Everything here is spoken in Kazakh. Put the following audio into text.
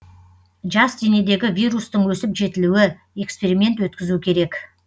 жас денедегі вирустың өсіп жетілуі эксперимент өткізу керек